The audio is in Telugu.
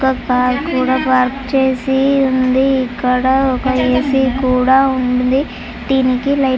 ఒక కార్ కూడా పార్క్ చేసి ఉంది ఇక్కడ ఒక ఏ_సీ కూడా ఉంది దేనికి లైట్ --